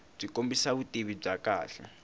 byi kombisa vutivi byo kahle